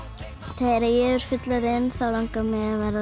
þegar ég verð fullorðin þá langar mig